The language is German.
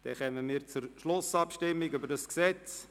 Somit kommen wir zur Schlussabstimmung dieses Gesetzes.